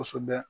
Kosɛbɛ